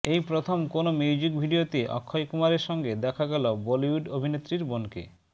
এই প্রথম কোনও মিউজিক ভিডিয়োতে অক্ষয় কুমারের সঙ্গে দেখা গেল বলিউড অভিনেত্রীর বোনকে